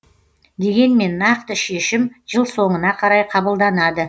дегенмен нақты шешім жыл соңына қарай қабылданады